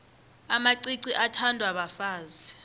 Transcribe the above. amacici athandwa bafazi